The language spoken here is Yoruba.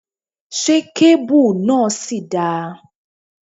Ṣé kéébù náà ṣì dáa?